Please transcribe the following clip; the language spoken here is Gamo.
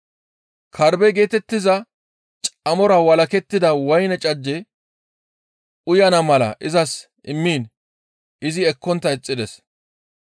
Karbbe geetettiza camora walakettida woyne cajje uyana mala izas immiin izi ekkontta ixxides.